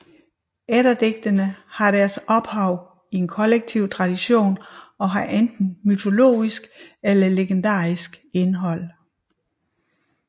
Eddadigtene har deres ophav i en kollektiv tradition og har enten mytologisk eller legendarisk indhold